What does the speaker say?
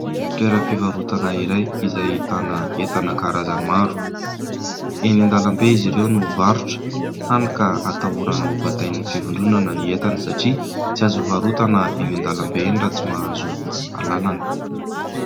Toeram-pivarotana iray izay ahitana entana karazany maro. Eny an-dalambe izy ireo no mivarotra hany ka ahatahorana ho batain'ny fivondronana ny entany satria tsy azo hivarotana eny an-dalambe eny raha tsy mahazo alalana.